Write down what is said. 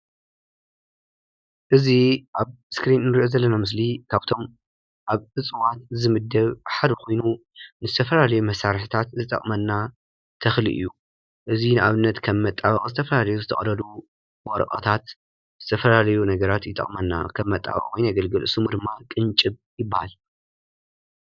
እዚ አብ እስክሪነ ንሪኦ ዘለና ምስሊ ካብቶም አብ እፅዋት ዝምደብ ሓደ ኮይኑ ንዝተፈላለየ መሳርሐታት ዝጠቅመና ተኽሊ እዩ፡፡ እዚ ንአብነት ከም መጣበቂ ዝተፈላለዩ ዝተቀደዱ ወረቀታት ዝተፈላለዩ ነገራት ይጠቅመና ከም መጣበቂ ኮይኑ የገለግል ሽሙ ድማ ቅንጭብ ይበሃል፡፡